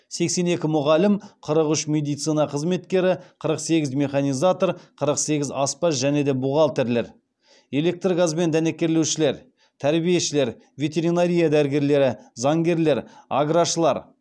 сексен екі мұғалім қырық үш медицина қызметкері қырық сегіз механизатор қырық сегіз аспаз және де бухгалтерлер электр газбен дәнекерлеушілер тәрбиешілер ветеринария дәрігерлері заңгерлер аграшылар